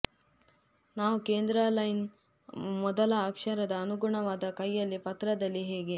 ನಾವು ಕೇಂದ್ರ ಲೈನ್ ಮೊದಲ ಅಕ್ಷರದ ಅನುಗುಣವಾದ ಕೈಯಲ್ಲಿ ಪತ್ರದಲ್ಲಿ ಹೇಗೆ